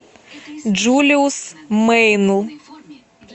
джулиус мэйнл